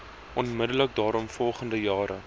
onmiddellik daaropvolgende jare